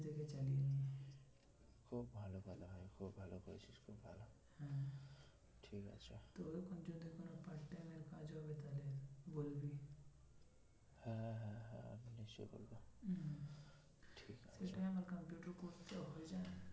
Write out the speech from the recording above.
এই time এ আমার কম্পিউটার coarse টা হয়ে যায়